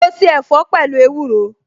Mo se ẹ̀fọ́ pẹ̀lú ewúro